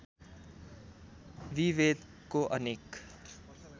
विभेदको अनेक